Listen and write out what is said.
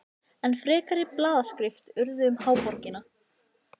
Enn frekari blaðaskrif urðu um háborgina.